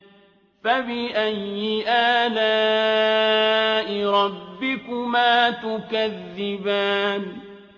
فَبِأَيِّ آلَاءِ رَبِّكُمَا تُكَذِّبَانِ